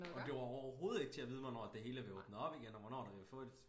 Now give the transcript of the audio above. Og det var overhovedet ikke til at vide hvornår at det hele blev åbnet op igen og hvornår det